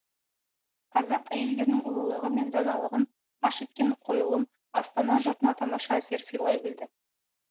қазақ әйелдерінің ұлылығы мен даналығын паш еткен қойылым астана жұртына тамаша әсер сыйлай білді